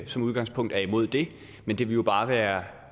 som udgangspunkt er imod det men det vil jo bare være